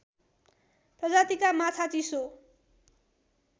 प्रजातिका माछा चिसो